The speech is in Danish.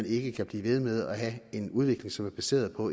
ikke kan blive ved med at have en udvikling som er baseret på